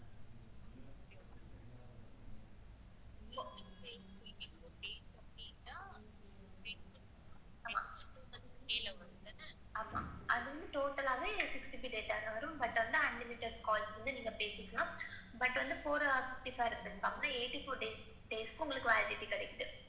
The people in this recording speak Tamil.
ஆமாஅதுவும், total six GB data வரும். unlimited calls நீங்க பேசிக்கலாம். But வந்து four hours தான் இருக்கும். அப்புறம் வந்து eighty four days சுக்கு உங்களுக்கு validity கிடைக்குது.